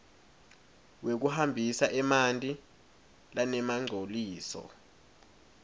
wekuhambisa emanti lanemangcoliso